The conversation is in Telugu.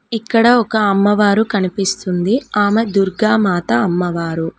ఇక్కడ ఒక అమ్మవారు కనిపిస్తుంది ఆమె దుర్గామాత అమ్మవారు.